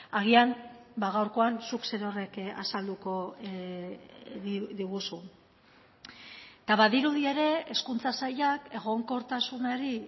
agian gaurkoan zuk zerorrek azalduko diguzu eta badirudi ere hezkuntza sailak egonkortasunari